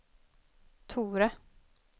Tore